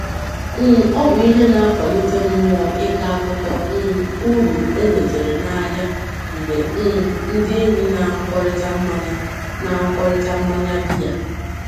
um Ọ bụ ihe na-akwalite mmuo ịkọ akụkọ um uru e nwetere n'ahia mgbe um ndị enyi na-anụkọrịta mmanya na-anụkọrịta mmanya biya.